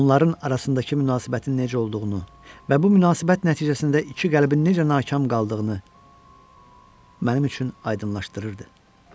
Onların arasındakı münasibətin necə olduğunu və bu münasibət nəticəsində iki qəlbin necə nakam qaldığını mənim üçün aydınlaşdırırdı.